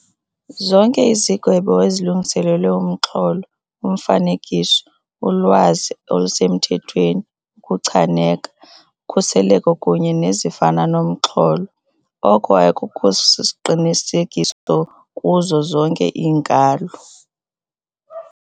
Zonke izigwebo ezilungiselelwe umxholo, umfanekiso, ulwazi olusemthethweni, ukuchaneka, ukhuseleko kunye nezifana nomxholo, oko akusosiqinisekiso kuzo zonke iinkalo.